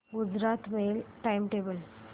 Gujarat mail time table